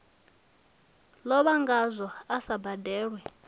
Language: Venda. lovha ngazwo a sa badelwe